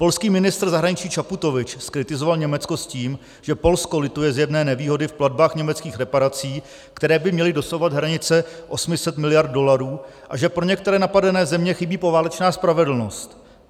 Polský ministr zahraničí Čaputovič zkritizoval Německo s tím, že Polsko lituje zjevné nevýhody v platbách německých reparací, které by měly dosahovat hranice 800 miliard dolarů, a že pro některé napadené země chybí poválečná spravedlnost.